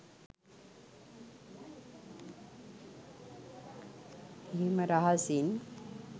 එහෙම රහසින්